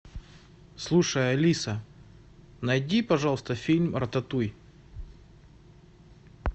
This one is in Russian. слушай алиса найди пожалуйста фильм рататуй